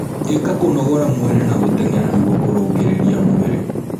Ika kũnogora mwĩrĩ na guteng'era nĩguo kurungirirĩa mwĩrĩ